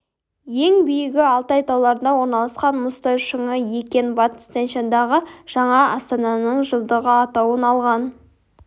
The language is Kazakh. ең биігі алтай тауларында орналасқан мұзтау шыңы екен батыс тянь-шаньдағы жаңа астананың жылдығы атауын алған